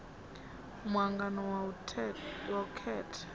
mu angano wa u khetha